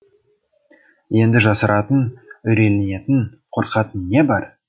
енді жасыратын үрейленетін қорқатын не бар